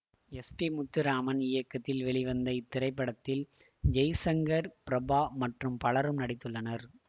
S P Muthuraman இயக்கத்தில் வெளிவந்த இத்திரைப்படத்தில் ஜெய்சங்கர் பிரபா மற்றும் பலரும் நடித்துள்ளனர்